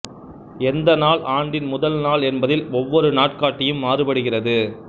எந்த நாள் ஆண்டின் முதல்நாள் என்பதில் ஒவ்வொரு நாட்காட்டியும் மாறுபடுகிறது